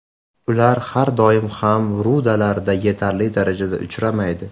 Ular har doim ham rudalarda yetarli darajada uchramaydi.